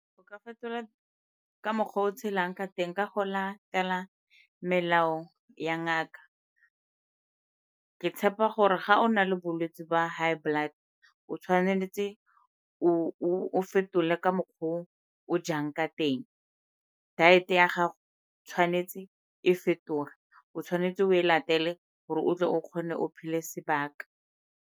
Go ka fetola ka mokgwa o o tshelang ka teng ka go latela melao ya ngaka. Ke tshepa gore ga o na le bolwetsi ba high blood-e o tshwanetse o fetole ka mokgwa o o jang ka teng, diet-e ya gago tshwanetse e fetoge. O tshwanetse o e latele gore o tle o kgone o phele sebaka.